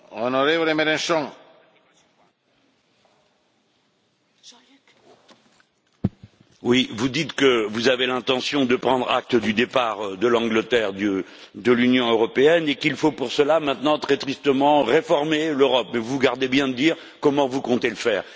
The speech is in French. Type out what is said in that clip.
Monsieur le Président, vous dites que vous avez l'intention de prendre acte du départ de l'Angleterre de l'Union européenne et qu'il faut pour cela maintenant, très tristement, réformer l'Europe, mais vous vous gardez bien de dire comment vous comptez le faire.